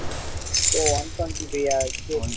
ஓ one twenty-five ஆ விவேக்